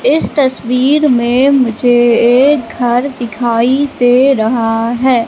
इस तस्वीर में मुझे एक घर दिखाई दे रहा है।